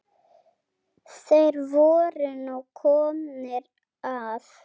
Þeir voru nú komnir að